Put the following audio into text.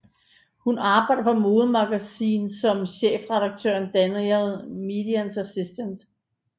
Hun arbejder på Mode Magazine som chefredaktøren Daniel Meades assistent